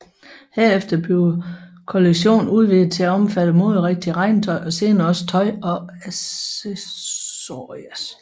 Herefter bliver kollektionen udvidet til at omfatte moderigtigt regntøj og senere også tøj og accessories